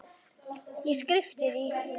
Ég skyrpti því.